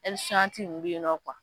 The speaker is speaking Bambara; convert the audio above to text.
nunnu bɛ ye nɔ